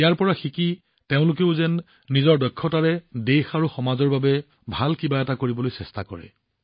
ইয়াৰ পৰা শিকি তেওঁলোকেও নিজৰ দক্ষতাৰে দেশ আৰু সমাজৰ বাবে ভাল কিবা এটা কৰিবলৈ চেষ্টা কৰে